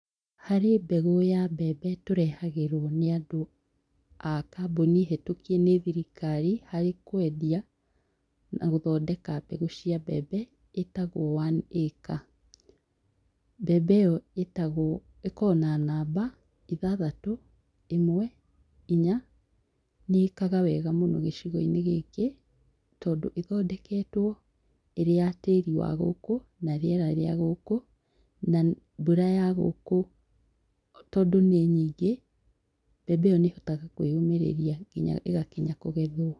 Harĩ mbegũ ya mbembe tũrehagĩrwo nĩ andũ a kamboni hĩtũkie nĩ thirikari harĩ kwendia na gũthondeka mbegũ cĩa mbembe ĩtagwo One Acre. Mbembe ĩyo ĩtagwo ĩkoragwo na namba ithathatũ, ĩmwe, inya nĩĩkaga wega gĩcigo-inĩ gĩkĩ tondũ ĩthondeketwo ĩrĩ ya tĩri wa gũkũ na rĩera rĩa gũkũ na mbura ya gũkũ tondũ nĩ nyĩngĩ mbembe ĩyo nĩhotaga kwĩyũmĩrĩria nginya ĩgakinya kũgethwo.